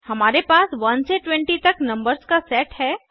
हमारे पास 1 से 20 तक नंबर्स का सेट है